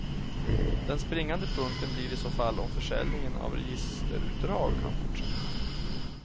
Den springande punkten blir i så fall om försäljningen av registerutdrag kan fortsätta.